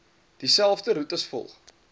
dieselfde roetes volg